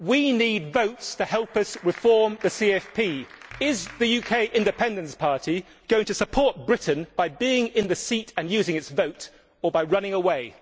We need votes to help us reform the CFP. Is the UK Independence Party going to support Britain by being in the seat and using its vote, or by running away?